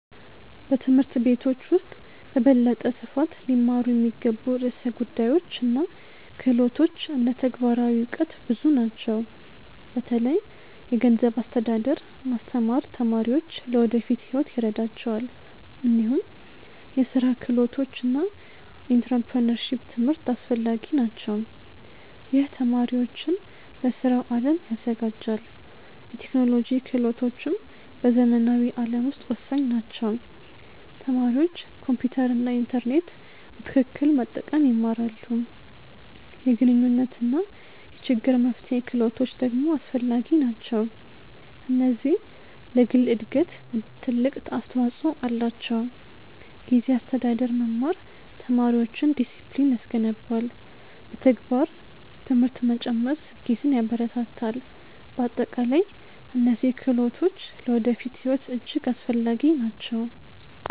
በትምህርት ቤቶች ውስጥ በበለጠ ስፋት ሊማሩ የሚገቡ ርዕሰ ጉዳዮች እና ክህሎቶች እንደ ተግባራዊ እውቀት ብዙ ናቸው። በተለይ የገንዘብ አስተዳደር ማስተማር ተማሪዎች ለወደፊት ሕይወት ይረዳቸዋል። እንዲሁም የስራ ክህሎቶች እና ኢንተርፕረነርሺፕ ትምህርት አስፈላጊ ናቸው። ይህ ተማሪዎችን ለስራው አለም ያዘጋጃል። የቴክኖሎጂ ክህሎቶችም በዘመናዊ ዓለም ውስጥ ወሳኝ ናቸው። ተማሪዎች ኮምፒውተር እና ኢንተርኔት በትክክል መጠቀም ይማራሉ። የግንኙነት እና የችግር መፍትሄ ክህሎቶች ደግሞ አስፈላጊ ናቸው። እነዚህ ለግል እድገት ትልቅ አስተዋፅኦ አላቸው። ጊዜ አስተዳደር መማር ተማሪዎችን ዲሲፕሊን ያስገነባል። በተግባር ትምህርት መጨመር ስኬትን ያበረታታል። በአጠቃላይ እነዚህ ክህሎቶች ለወደፊት ሕይወት እጅግ አስፈላጊ ናቸው።